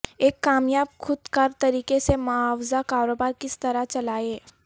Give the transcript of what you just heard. ایک کامیاب خود کار طریقے سے معاوضہ کاروبار کس طرح چلائیں